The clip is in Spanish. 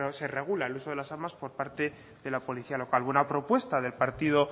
se regule el uso de las armas por parte de la policía local bueno a propuesta del partido